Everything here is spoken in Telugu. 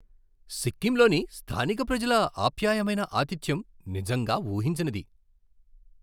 సిక్కింలోని స్థానిక ప్రజల ఆప్యాయమైన ఆతిథ్యం నిజంగా ఊహించనిది.